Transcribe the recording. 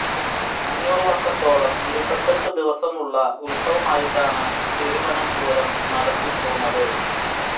അഞ്ഞൂറ് വർഷത്തോളം ഇരുപത്തെട്ടു ദിവസമുള്ള ഉത്സവമായിട്ടാണ് പെരുവനം പൂരം നടത്തി പോന്നത്